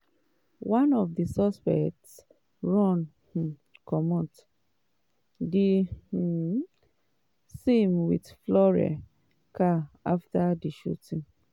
one of di suspects run um comot di um scene wit fleurs car afta di shooting.